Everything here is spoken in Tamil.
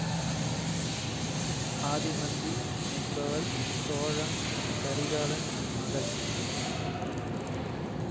ஆதிமந்தி என்பவள் சோழன் கரிகாலன் மகள்